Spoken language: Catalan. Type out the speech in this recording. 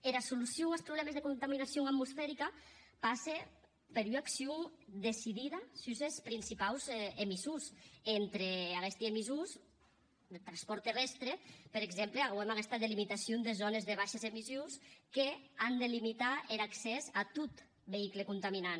era solucion as problèmes de contaminacion atmosferica passe per ua accion decidida sus es principaus emissors e entre aguesti emissors eth transpòrt terrèstre per exemple auem aguesta delimitacion de zònes de baishes emissions qu’an de limitar er accès a tot veïcul contaminant